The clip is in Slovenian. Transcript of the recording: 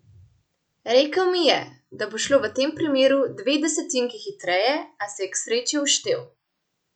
Rekel mi je, da bo šlo v tem primeru dve desetinki hitreje, a se je k sreči uštel.